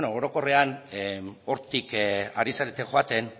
beno orokorrean hortik ari zarete joaten